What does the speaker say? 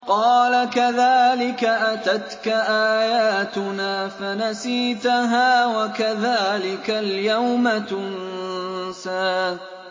قَالَ كَذَٰلِكَ أَتَتْكَ آيَاتُنَا فَنَسِيتَهَا ۖ وَكَذَٰلِكَ الْيَوْمَ تُنسَىٰ